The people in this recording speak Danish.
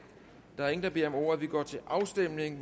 der er ingen der beder om ordet vi går til afstemning